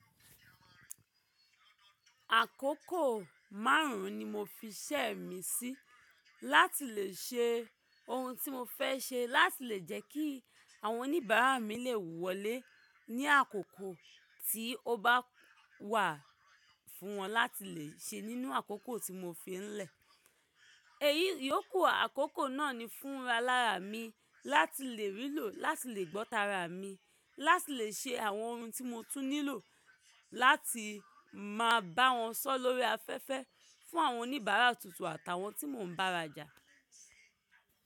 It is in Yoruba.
Àkókò márùn-ún ni mo fiṣẹ́ mi sí láti lè ṣe ohun tí mo fẹ́ ṣe láti lè jẹ́ kí àwọn oníbàárà mi lè wọlé ní àkókò tí ó bá wà fún wọn láti lè ṣe nínú àkókò tí mo fi lẹ̀. Èyí yóò ku àkókò náà ní fún ra lára mi láti lè rí lò láti lè gbọ́ tara mi, láti lè ṣe àwọn ohun tí mo tún nílò láti máa bá wọn sọ̀ lórí afẹ́fẹ́ fún àwọn oníbàárà tuntun àtàwọn tí mò ń bá rajà.